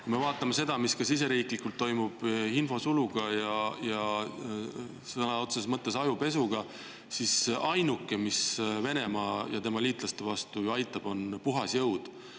Kui me vaatame seda, mis ka siseriiklikult toimub infosuluga ja sõna otseses mõttes ajupesuga, siis ainuke, mis Venemaa ja tema liitlaste vastu ju aitab, on puhas jõud.